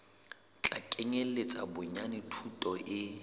tla kenyeletsa bonyane thuto e